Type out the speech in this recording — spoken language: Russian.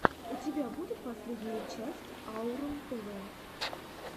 у тебя будет последняя часть аурум тв